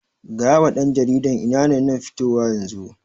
Gayawa ɗan jaridan ina nan fitowa yanzu